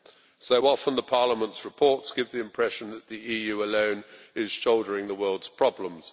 So often, Parliament's reports give the impression that the EU alone is shouldering the world's problems.